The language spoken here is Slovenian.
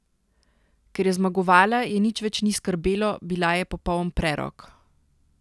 Ker je zmagovala, je nič več ni skrbelo, bila je popoln prerok.